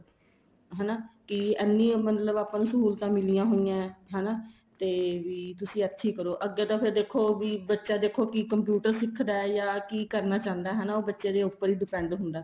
ਹਨਾ ਕੀ ਐਨੀ ਮਤਲਬ ਆਪਾਂ ਨੂੰ ਸਹੂਲਤਾਂ ਮਿਲਿਆਂ ਹੋਇਆ ਏ ਹਨਾ ਤੇ ਵੀ ਤੁਸੀਂ ਇੱਥੇ ਹੀ ਕਰੋ ਅੱਗੇ ਤਾਂ ਫ਼ੇਰ ਦੇਖੋ ਵੀ ਬੱਚਾ ਦੇਖੋ ਕੀ computer ਸਿੱਖਦਾ ਏ ਜਾ ਕੀ ਕਰਨਾ ਚਾਹੁੰਦਾ ਹਨਾ ਬੱਚੇ ਦੇ ਉੱਪਰ ਏ depend ਹੁੰਦਾ